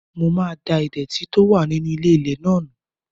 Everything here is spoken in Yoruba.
Mo máa da ìdẹ̀tì tó wà nínú ilé-ilẹ̀ náà nù